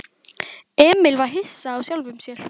Emil var hissa á sjálfum sér.